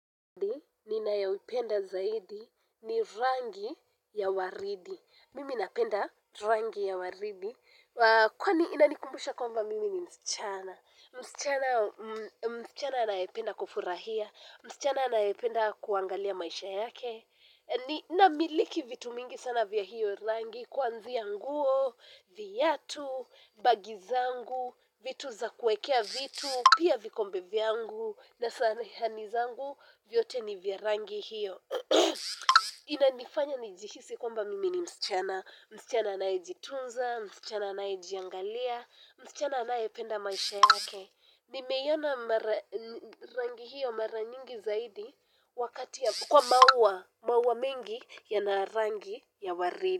Ninayoipenda zaidi ni rangi ya waridi. Mimi napenda rangi ya waridi. Kwani inanikumbusha kwamba mimi ni msichana. Msichana anayependa kufurahia. Msichana anayipenda kuangalia maisha yake. Namiliki vitu mingi sana vya hiyo rangi. Kuanzia nguo, viatu, bagi zangu, vitu za kuekea vitu. Pia vikombe vyangu, na sahani zangu vyote ni vya rangi hiyo. Inanifanya nijihisi kwamba mimi ni msichana. Msichana anayejitunza, msichana anayejiangalia, msichana anayependa maisha yake. Nimeiona mara rangi hiyo mara nyingi zaidi wakati kwa maua, maua mengi yana rangi ya waridi.